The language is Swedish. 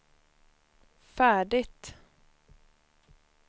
färdigt